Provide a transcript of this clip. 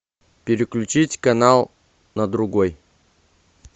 переключить канал на другой